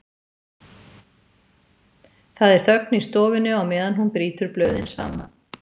Það er þögn í stofunni á meðan hún brýtur blöðin saman.